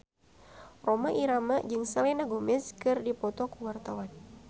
Rhoma Irama jeung Selena Gomez keur dipoto ku wartawan